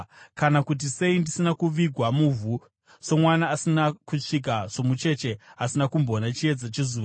Kana kuti sei ndisina kuvigwa muvhu somwana asina kusvika, somucheche asina kumboona chiedza chezuva?